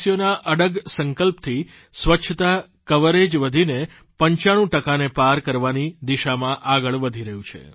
દેશવાસીઓના અડગ સંકલ્પથી સ્વચ્છતા કવરેજ વધીને 95 ટકાને પાર કરવાની દિશામાં આગળ વધી રહ્યું છે